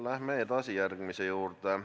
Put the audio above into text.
Läheme edasi järgmise küsimuse juurde.